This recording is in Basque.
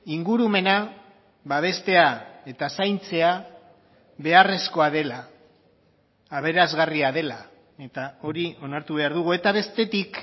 ingurumena babestea eta zaintzea beharrezkoa dela aberasgarria dela eta hori onartu behar dugu eta bestetik